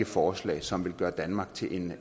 forslag som vil gøre danmark til en